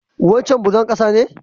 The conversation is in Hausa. Wancen bulon ƙasa ne?